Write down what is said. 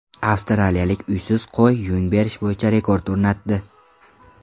Avstraliyalik uysiz qo‘y yung berish bo‘yicha rekord o‘rnatdi.